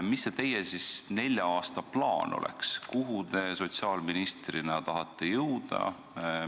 Mis see teie nelja aasta plaan siis on, kuhu te sotsiaalministrina tahate jõuda?